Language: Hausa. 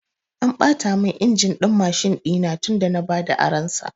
An ɓata mun injin din Mashin ɗina tun da na bada aron sa